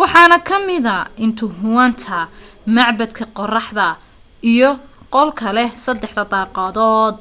waxaana kamida intihuatana macbadka qoraxda iyo qolka leh saddexda daaqadood